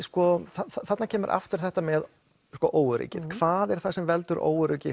þarna kemur aftur þetta með óöryggið hvað er það sem veldur óöryggi